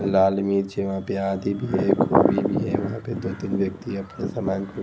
लाल मिर्ची वहां पे आदि भी है गोभी भी है वहां पे दो तीन व्यक्ति अपने सामान को--